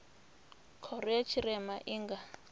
khoro ya tshirema i nga